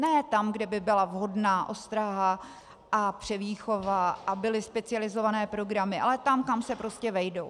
Ne tam, kde by byla vhodná ostraha a převýchova a byly specializované programy, ale tam, kam se prostě vejdou.